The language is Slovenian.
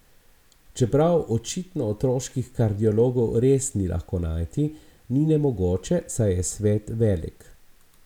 Čeprav očitno otroških kardiologov res ni lahko najti, ni nemogoče, saj je svet velik.